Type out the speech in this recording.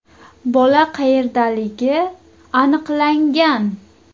Bola qayerdaligi aniqlangan.